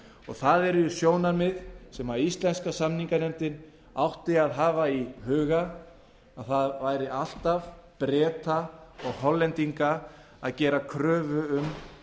það eru sjónarmið sem íslenska samninganefndin átti að hafa í huga að það væri alltaf breta og hollendinga að gera kröfu um